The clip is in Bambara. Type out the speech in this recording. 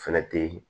Fɛnɛ te